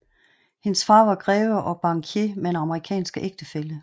Hendes far var greve og bankier med en amerikansk ægtefælle